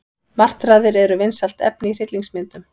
Martraðir eru vinsælt efni í hryllingsmyndum.